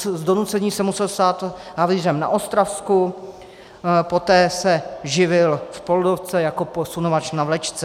Z donucení se musel stát havířem na Ostravsku, poté se živil v Poldovce jako posunovač na vlečce.